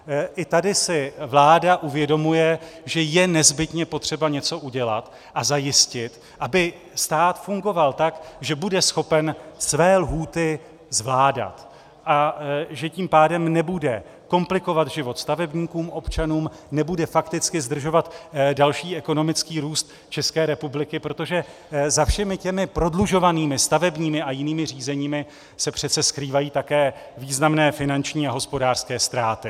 I tady si vláda uvědomuje, že je nezbytně potřeba něco udělat a zajistit, aby stát fungoval tak, že bude schopen své lhůty zvládat a že tím pádem nebude komplikovat život stavebníkům-občanům, nebude fakticky zdržovat další ekonomický růst České republiky, protože za všemi těmi prodlužovanými staveními a jinými řízeními se přece skrývají také významné finanční a hospodářské ztráty.